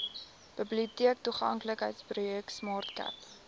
biblioteektoeganklikheidsprojek smart cape